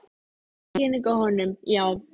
Það er sýning á honum, já.